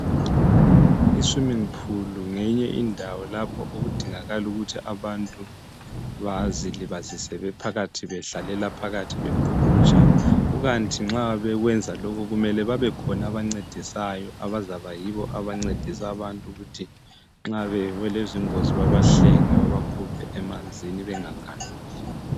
Iswimming pool ngenye indawo lapho okud8ngala ikuthi abantu bazilibazise bephakathi. Bedlalela phskathi bebhukutsha. Kukanti nxa bekwenza lokhu, kumele kubekhona abancedisayo. Abazaba yibo abancedisa abantu, ukuthi nxa bewelwa zingozi. Babancedise, babahlenge, babakhuphe emanzini. Brngagaluli.